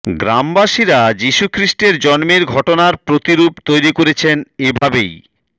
গ্রামবাসীরা যীশু খ্রিস্টের জন্মের ঘটনার প্রতিরুপ তৈরি করেছেন এভাবেই